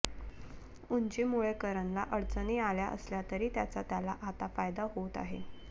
उंचीमुळे करणला अडचणी आल्या असल्या तरी त्याचा त्याला आता फायदा होत आहे